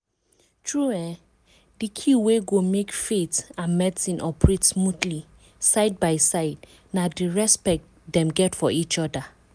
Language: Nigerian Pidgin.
true[um]di key wey go make faith and medicine operate smoothly side by side na di respect dem get for each other.